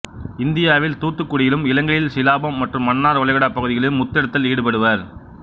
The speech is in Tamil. இந்தியாவில் தூத்துக்குடியிலும் இலங்கையில் சிலாபம் மற்றும் மன்னார் வளைகுடாப் பகுதிகளிலும் முத்தெடுத்தலில் ஈடுபடுவர்